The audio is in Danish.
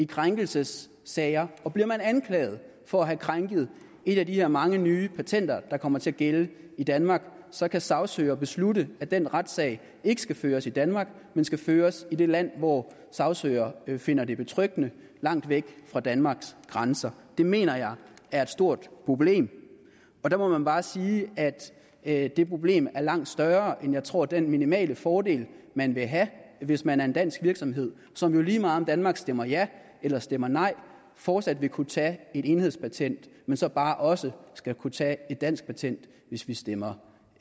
krænkelsessager og bliver man anklaget for at have krænket et af de her mange nye patenter der kommer til at gælde i danmark så kan sagsøger beslutte at den retssag ikke skal føres i danmark men skal føres i det land hvor sagsøger finder det betryggende langt væk fra danmarks grænser det mener jeg er et stort problem og der må man bare sige at det problem er langt større end jeg tror den minimale fordel man vil have er hvis man er en dansk virksomhed som jo lige meget om danmark stemmer ja eller stemmer nej fortsat vil kunne tage et enhedspatent men så bare også skal kunne tage et dansk patent hvis vi stemmer